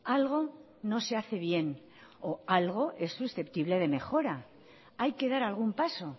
algo no se hace bien o algo es susceptible de mejora hay que dar algún paso